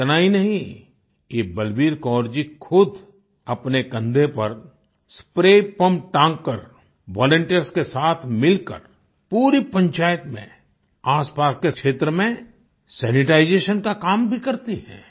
इतना ही नहीं ये बलबीर कौर जी खुद अपने कन्धे पर स्प्रे पम्प टांगकर वॉलंटियर्स के साथ मिलकर पूरी पंचायत में आसपास क्षेत्र में सैनिटाइजेशन का काम भी करती हैं